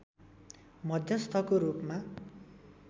मध्यस्थको रूपमा